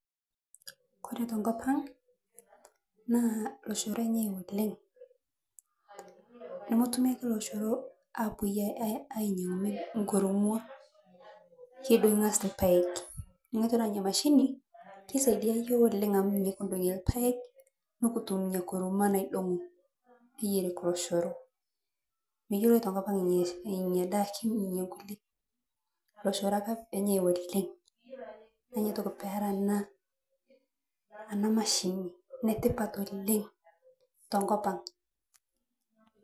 Ore tenkop ang' naa oloshoro enyai oleng' nemetumi ake oloshoro epuoi ainyiang'u kidong'i ang'as irpaek ore ena mashini nisaidia iyiook midong'i irpaek idong'i pee eyieri loshoro enyai oleng' neeku ore ena mashini enetipat oleng' tenkop ang'.